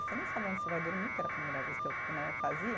Você nem sabe onde você vai dormir, que era a primeira vez que eu né fazia.